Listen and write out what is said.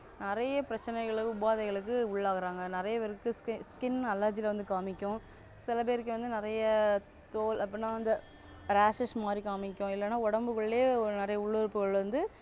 நிறைய பிரச்சனைகளுக்கு உபாதைகளுக்கு உள்ளாகுறாங்க நிறைய பேருக்கு skin allergy வந்து காண்பிக்கும் சில பேருக்கு வந்து நிறைய தோல் அப்படின்னா வந்து rashes மாதிரி காண்பிக்கும் இல்லன்னா உடம்புக்குள்ளேயே ஒரு நிறைய உள்ளுறுப்புகள் வந்து